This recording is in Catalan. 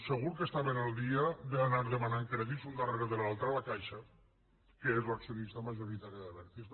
segur que estaven al dia d’anar demanant crèdits l’un darrere l’altre a la caixa que és l’accionista majoritària d’abertis